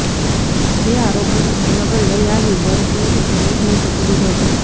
જે આરોપીને ભાવનગર લઈ આવી વરતેજ પોલીસને સોંપી દીધો હતો